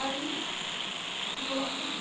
Aí, ficou lá um tempão.